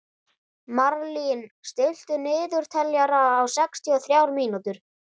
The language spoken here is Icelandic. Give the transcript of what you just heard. Marlín, stilltu niðurteljara á sextíu og þrjár mínútur.